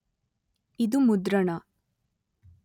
ಇದು ಮುದ್ರಣ